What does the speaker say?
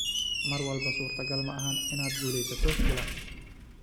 “Mar walba suurtagal ma ahan inaad guuleysato kulan.